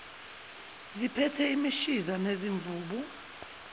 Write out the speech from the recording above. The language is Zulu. ziphethe imishiza nezimvubu